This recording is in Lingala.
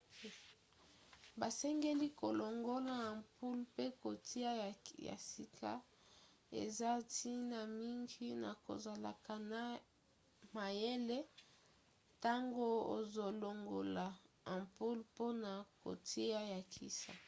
basengeli kolongola ampoule mpe kotia ya sika. eza ntina mingi na kozala mayele ntango ozolongola ampoule mpona kotia ya sika